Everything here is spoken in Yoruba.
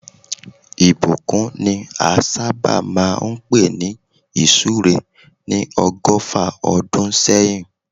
Ìbùkún ni a sábà máa ń pè ní ìsúre ní ọgọ́fà ọdún sẹ́yìn